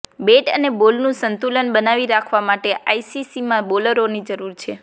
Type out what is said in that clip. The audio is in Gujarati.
બેટ અને બોલનુ સંતુલન બનાવી રાખવા માટે આઈસીસીમાં બોલરોની જરૂર છે